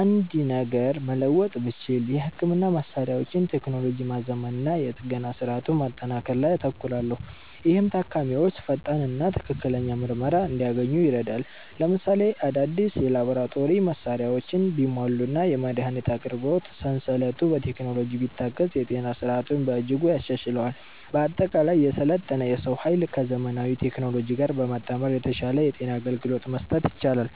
አንድ ነገር መለወጥ ብችል፣ የሕክምና መሣሪያዎችን ቴክኖሎጂ ማዘመንና የጥገና ሥርዓቱን ማጠናከር ላይ አተኩራለሁ፤ ይህም ታካሚዎች ፈጣንና ትክክለኛ ምርመራ እንዲያገኙ ይረዳል። ለምሳሌ፣ አዳዲስ የላቦራቶሪ መሣሪያዎች ቢሟሉና የመድኃኒት አቅርቦት ሰንሰለቱ በቴክኖሎጂ ቢታገዝ የጤና ሥርዓቱን በእጅጉ ያሻሽለዋል። በአጠቃላይ፣ የሰለጠነ የሰው ኃይልን ከዘመናዊ ቴክኖሎጂ ጋር በማጣመር የተሻለ የጤና አገልግሎት መስጠት ይቻላል።